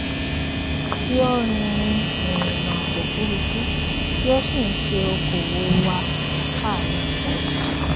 tí ó rin rin ìrìnà òfurufú tí ó sì ń ṣe okòòwò wà á káànú wọn